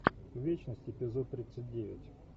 вечность эпизод тридцать девять